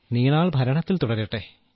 നീണാൾ ഭരണത്തിൽ തുടരട്ടെ